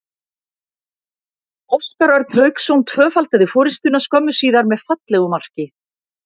Óskar Örn Hauksson tvöfaldaði forystuna skömmu síðar með fallegu marki.